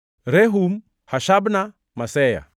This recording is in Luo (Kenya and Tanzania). Rehum, Hashabna, Maseya,